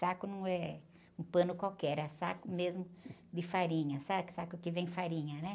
Saco não é um pano qualquer, é saco mesmo de farinha, sabe? Saco que vem farinha, né?